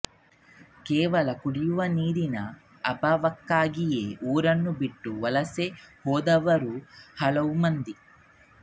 ಕೇವಲ ಕುಡಿಯುವ ನೀರಿನ ಅಭಾವಕ್ಕಾಗಿಯೇ ಊರನ್ನು ಬಿಟ್ಟು ವಲಸೆ ಹೋದವರು ಹಲವು ಮಂದಿ